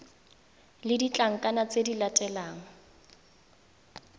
le ditlankana tse di latelang